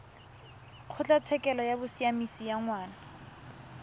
kgotlatshekelo ya bosiamisi ya ngwana